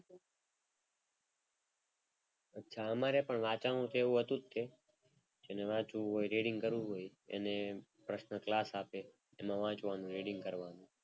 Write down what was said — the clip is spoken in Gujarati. અચ્છા અમારે વાંચવાનું છે એવું હતું જ તે. જેણે વાંચવું હોય એ reading કરવું હોય એણે personal class આપે એમાં વાંચવાનું reading કરવાનું.